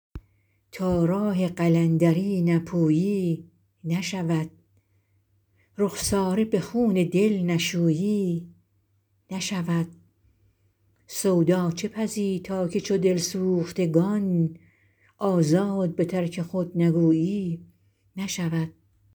تا راه قلندری نپویی نشود رخساره به خون دل نشویی نشود سودا چه پزی تا که چو دل سوختگان آزاد به ترک خود نگویی نشود